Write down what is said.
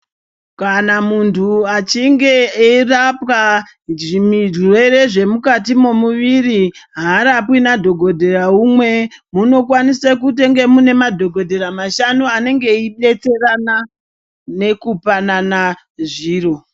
Kana muntu echinge eirapwa zvirwere zvemukati mwemuviri harapwi nadhogodheya umwe. Munokwanise kutonge mune madhogodheya mashanu anenge eibetserana nekupanana zviro.